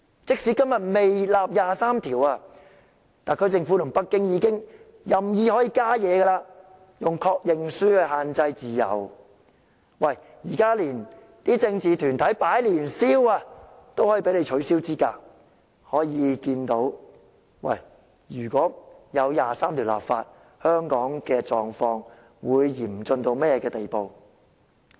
即使今日尚未就第二十三條立法，特區政府與北京已任意干預香港的自由，例如以確認書限制參選自由，就連政治團體在年宵市場經營攤位也被取消資格，由此可見，若真的就第二十三條立法，香港的狀況會嚴峻到甚麼程度。